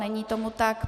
Není tomu tak.